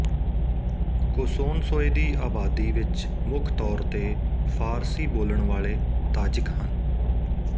ਕੋਸੋਨਸੋਏ ਦੀ ਅਬਾਦੀ ਵਿੱਚ ਮੁੱਖ ਤੌਰ ਤੇ ਫ਼ਾਰਸੀ ਬੋਲਣ ਵਾਲੇ ਤਾਜਿਕ ਹਨ